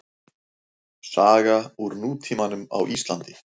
Saga úr nútímanum á Íslandi.